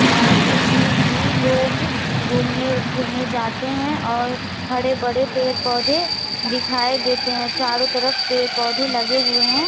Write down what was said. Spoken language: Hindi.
अं जिसमें कि लोग घूमने फिरने जाते हैं और हरे भरे पेड़ पौधे दिखाई देते हैं चारों तरफ पेड़ पौधे लगे हुए हैं।